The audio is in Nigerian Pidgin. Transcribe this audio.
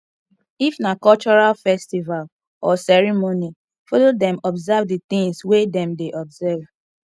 if na cultural festival or ceremony follow them observe di things wey dem dey observe